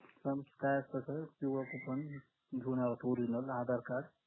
काय असत sir पिवळं coupon घेऊन यावं लागत original आधार card